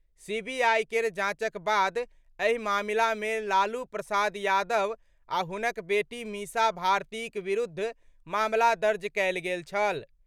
CBI केर जांचक बाद एहि मामला मे लालू प्रसाद यादव आ हुनक बेटी मीसा भारतीक विरुद्ध मामला दर्ज कयल गेल छल।